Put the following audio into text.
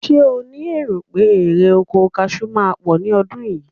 Ṣé ó ní èrò pé erè oko kaṣú máa pọ̀ ní ọdún yìí?